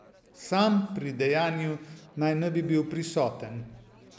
Sam pri dejanju naj ne bi bil prisoten.